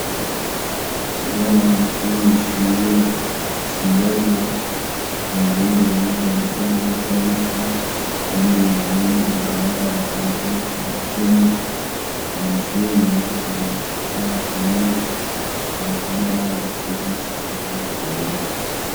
Ikibaho co mw'ishure cirabura, uruhande rumwe rwanditsemwo amatariki, urundi ruhande rugaragara atanakimwe canditsemwo, amashure yubakishije amatafari ahiye, umukanda wayo usigishije irangi ryera.